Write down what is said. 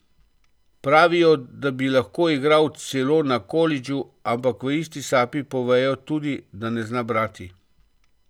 Pravijo, da bi lahko igral celo na kolidžu, ampak v isti sapi povejo tudi, da ne zna brati.